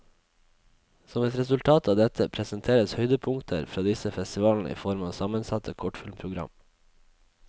Som et resultat av dette, presenteres høydepunkter fra disse festivalene i form av sammensatte kortfilmprogram.